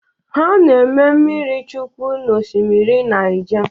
Ha na-eme mmiri chukwụ na osimiri Naija.